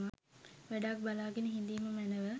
වැඩක් බලාගෙන හිඳීම මැනව